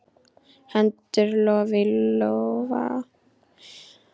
Heldur lof í lófa.